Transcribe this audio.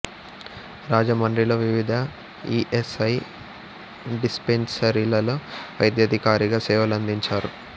రాజమండ్రిలో వివిధ E S I dispensary లలో వైద్యాధికారిగా సేవలందించారు